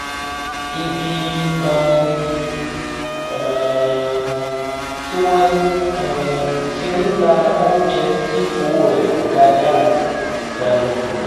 ibi um um tí wọ́n um ti ń ta oúnjẹ tí owó rẹ̀ kò gani lára la lọ